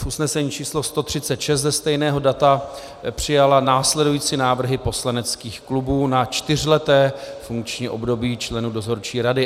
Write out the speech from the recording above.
V usnesení číslo 136 ze stejného data přijala následující návrhy poslaneckých klubů na čtyřleté funkční období členů Dozorčí rady.